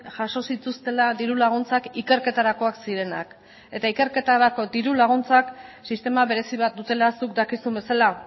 jaso zituztela diru laguntzak ikerketarakoak zirenak eta ikerketarako diru laguntzak sistema berezi bat dutela zuk dakizun bezala